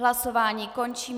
Hlasování končím.